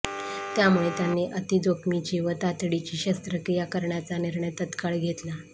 त्यामुळे त्यांनी अतीजोखमीची व तातडीची शस्त्रक्रिया करण्याचा निर्णय तत्काळ घेतला